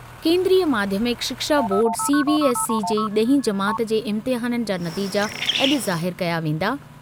केंद्रीय माध्यमिक शिक्षा बोर्ड सीबीएसई जे ॾहीं जमात जे इम्तिहान जा नतीजा अॼु ज़ाहिर कया वेंदा।